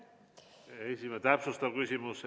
Täpsustav küsimus.